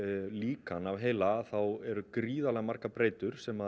líkan af heila þá eru gríðarlega margar breytur sem